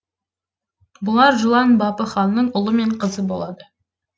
бұлар жылан бапы ханның ұлы мен қызы болады